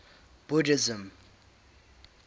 buddhism